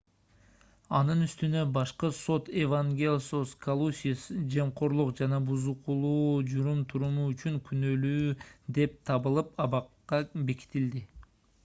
анын үстүнө башкы сот евангелос калусис жемкорлук жана бузукулуу жүрүм-туруму үчүн күнөөлүү деп табылып абакка бекитилди